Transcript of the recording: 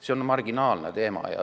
See on marginaalne teema.